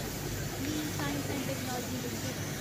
clean science and technology limited